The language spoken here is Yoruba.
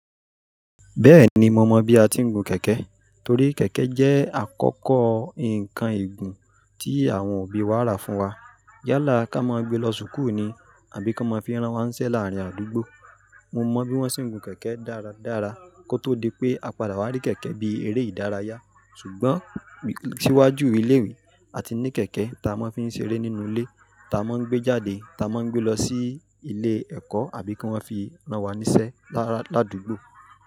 Bẹ́ẹ̀ni, mo mọ bí a ti ń gun kẹ̀kẹ́ torí kẹ̀kẹ́ jẹ́ àkọ́kọ́ nǹkan ègún tí àwọn òbí wa rà fún wa. Yálà ká máa ń gbé lọ sukùù ni àbí ká máa ń fi rán wa ń ṣẹ́ láàárín àdúgbò. Mo mọ bí wọ́n ṣe ń gun kẹ̀kẹ́ dáradára kótó di pé a padà wá rí kẹ̀kẹ́ bí eré ìdárayá. Ṣùgbọ́n síwájú ilé ìwé a ti ní kẹ̀kẹ́ ta a máa ń fi ń ṣeré nínú ilé, ta a máa ń gbé jáde, ta a máa ń gbé lọ sí ilé ẹ̀kọ́ àbí kí wọ́n fi rán wa níṣẹ́ láàdúgbò.